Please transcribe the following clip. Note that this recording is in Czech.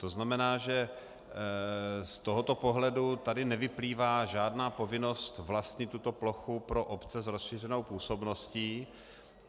To znamená, že z tohoto pohledu tady nevyplývá žádná povinnost vlastnit tuto plochu pro obce s rozšířenou působností.